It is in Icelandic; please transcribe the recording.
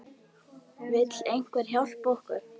Vill einhver hjálpa okkur?